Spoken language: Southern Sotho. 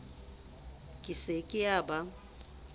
e se ke ya ba